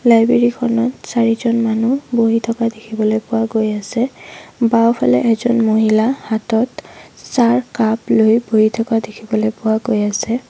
Library খনত চাৰিজন মানুহ বহি থকা দেখিবলৈ পোৱা গৈ আছে বাওঁফালে এজন মহিলা হাতত চাহ কাপ লৈ বহি থকা দেখিবলৈ পোৱা গৈ আছে।